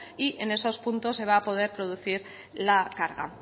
y en esos puntos se va poder producir la carga